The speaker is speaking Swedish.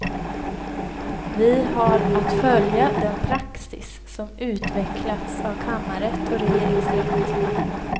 Vi har att följa den praxis som utvecklats av kammarrätt och regeringsrätt.